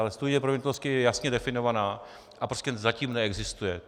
Ale studie proveditelnosti je jasně definovaná a prostě zatím neexistuje.